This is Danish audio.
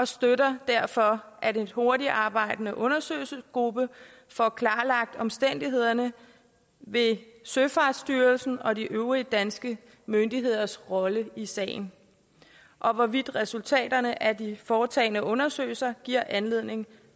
støtter derfor at en hurtigtarbejdende undersøgelsesgruppe får klarlagt omstændighederne ved søfartsstyrelsens og de øvrige danske myndigheders rolle i sagen og hvorvidt resultaterne af de foretagne undersøgelser giver anledning